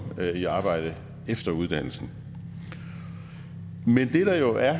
i arbejde efter uddannelsen men det der jo er